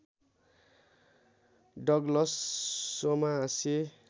Douglas सोमा हास्य